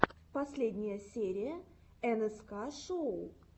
последняя серия нск шоу